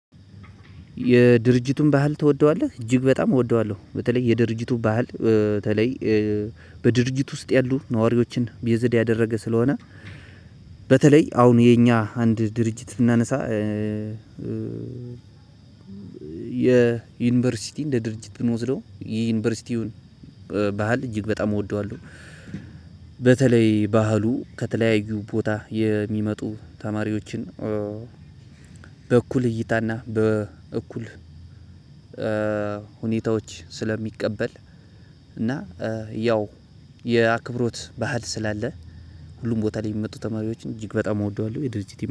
የድርጅቱን ባህል ትወደዋለህ እጅግ በጣም እወደዋለሁ በተለይ የድርጅቱ ባህል በተለይ በድርጅቱ ውስጥ ያሉ ነዋሪዎችን ቤዝድ ያደረገ ስለሆነ። በተለይ አሁን የኛ አንድ ድርጅት ብናነሳ። የዩኒቨርሲቲ እንደ ድርጅት ብንወስደው የዩኒቨርሲቲውን ባህል እጅግ በጣም እወደዋለሁ። በተለይ ባህሉ ከተለያዩ ቦታ የሚመጡ ተማሪዎችን በእኩል እይታና በእኩል ሁኔታዎች ስለሚቀበል እና ያው የአክብሮት ባህል ስላለ ሁሉም ቦታ ላይ የሚመጡ ተማሪዎችን እጅግ በጣም እወደዋለሁ